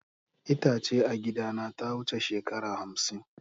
Itace a gidana ta wuce shekara hamsin.